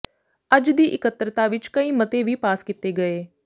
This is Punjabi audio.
ਅੱਜ ਦੀ ਇਕੱਤਰਤਾ ਵਿਚ ਕਈ ਮਤੇ ਵੀ ਪਾਸ ਕੀਤੇ ਗਏ